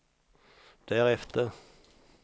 därefter